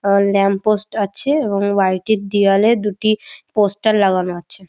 আর lamp post আছে এবং বাড়িটির দিয়ালে দুটি পোস্টার লাগানো আছে।